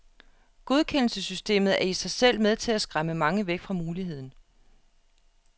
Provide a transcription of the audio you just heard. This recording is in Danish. Godkendelsessystemet er i sig selv med til at skræmme mange væk fra muligheden.